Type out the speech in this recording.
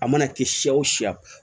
A mana kɛ si o siya